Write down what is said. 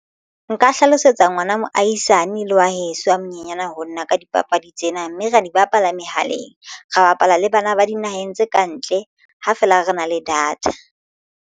Nka hlalosetsa ngwana moahisane le wa heso a monyenyana ho nna ka dipapadi tsena mme ra di bapala mehaleng. Re bapala le bana ba dinaheng tse kantle ha feela re na le data.